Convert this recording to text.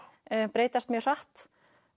breytast mjög hratt